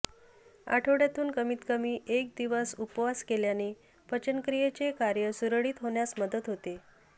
आठवड्यातून कमीत कमी एक दिवस उपवास केल्याने पचनक्रियेचे कार्य सुरळीत होण्यास मदत होते